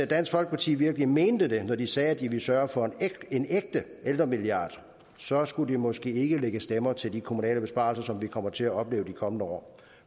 dansk folkeparti virkelig mente det når de sagde at de vil sørge for en ægte ældremilliard så skulle de måske ikke lægge stemmer til de kommunale besparelser som vi kommer til at opleve de kommende år